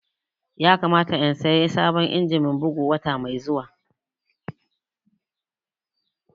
Ya kamata in saya sabon injimin bugu wata mai zuwa